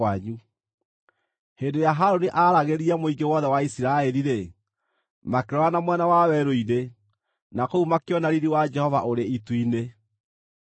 Hĩndĩ ĩrĩa Harũni aaragĩria mũingĩ wothe wa Isiraeli-rĩ, makĩrora na mwena wa werũ-inĩ, na kũu makĩona riiri wa Jehova ũrĩ itu-inĩ.